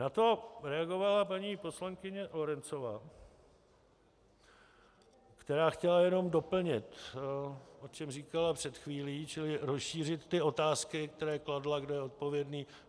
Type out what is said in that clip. Na to reagovala paní poslankyně Lorencová, která chtěla jenom doplnit, o čem říkala před chvílí, čili rozšířit ty otázky, které kladla, kdo je odpovědný.